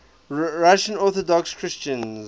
russian orthodox christians